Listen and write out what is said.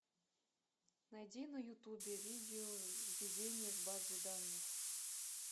найди на ютубе видео введение в базы данных